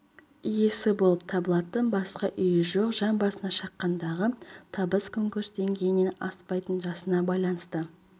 иесі болып табылатын басқа үйі жоқ жан басына шаққандағы табысы күнкөріс деңгейінен аспайтын жасына байланысты